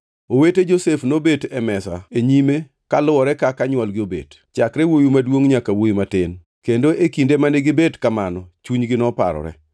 Owete Josef nobet e mesa e nyime kaluwore kaka nywolgi nobet, chakre wuowi maduongʼ nyaka wuowi matin kendo e kinde mane gibet kamano chunygi noparore.